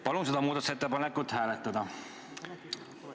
Palun seda muudatusettepanekut hääletada!